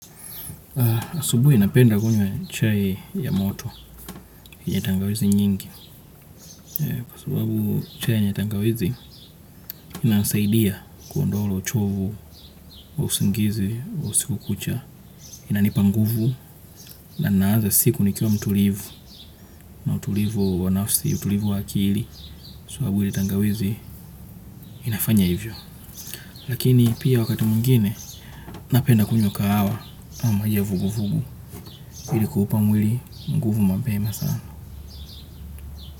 Asubuhi napenda kunywa chai ya moto, ya tangawizi nyingi, kwa sababu chai ya tangawizi inanisaidia kuondoa ule uchovu wa usingizi, usiku kucha, inanipa nguvu, na naaza siku nikiwa mtulivu, na utulivu wanafsi, utulivu wakili, sababu ile tangawizi inafanya hivyo. Lakini pia wakati mwingine, napenda kunywa kahawa, ama maji ya vuguvugu, ili kuupa mwili, nguvu mapema sana.